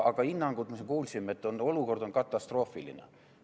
Aga hinnangutes me kuulsime, et olukord on katastroofiline.